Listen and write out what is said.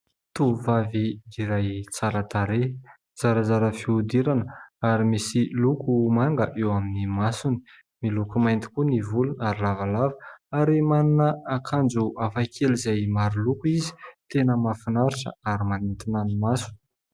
Tovovavy iray tsara tarehy, zarazara fihodirana ary misy loko manga eo amin'ny masony, miloko mainty koa ny volony ary lavalava; ary manana akanjo hafakely izay maro loko izy, tena mafinaritra ary manintona ny maso.